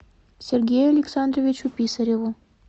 сергею александровичу писареву